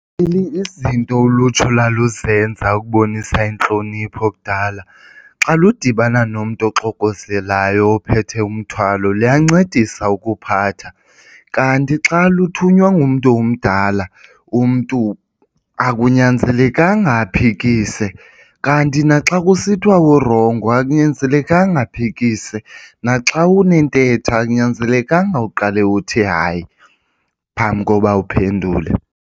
Izinto ulutsha ulwaluzenza ukubonisa intlonipho kudala xa lidibana nomntu oxokozelayo ophethe umthwalo luyancedisa ukuphatha. Kanti xa luthunywa ngumntu omdala, umntu akunyanzelekanga aphikise, kanti naxa kusithwa urongo akunyanzelekanga aphikise. Naxa unentetho akunyanzelekanga uqale uthi hayi phambi koba uphendule.